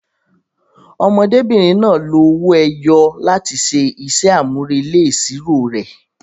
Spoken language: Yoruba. Ọmọdébìnrin náà lo owó ẹyọ láti ṣe iṣẹ́ àmúrelé ìṣirò rẹ̀.